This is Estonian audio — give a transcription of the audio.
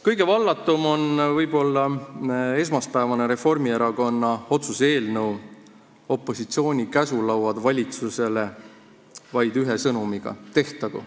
Kõige vallatum oli võib-olla esmaspäevane Reformierakonna otsuse eelnõu, opositsiooni käsulauad valitsusele vaid ühe sõnumiga – tehtagu.